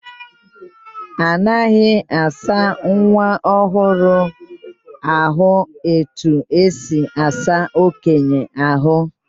Anaghị asa nwa ọhụrụ ahụ etu esi asa okenye ahụ.